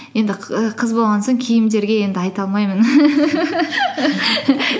енді қ і қыз болған соң киімдерге енді айта алмаймын